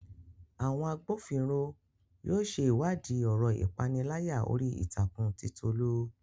Àwọn agbófinró yóò ṣe ìwádìí ọ̀rọ̀ ìpániláyà orí ìtàkùn ti Tolu